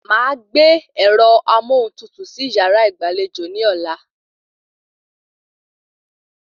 Màá gbé ẹ̀rọ amóhuntutù sí yàrá ìgbàlejò ní ọ̀la